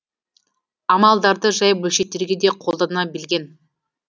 амалдарды жай бөлшектерге де қолдана білген